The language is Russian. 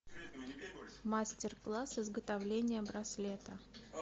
мастер класс изготовления браслета